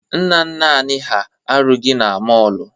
Nna nna anị ha arụghị ọrụ na mọọlụ.